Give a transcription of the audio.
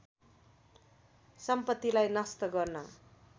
सम्पतिलाई नष्ट गर्न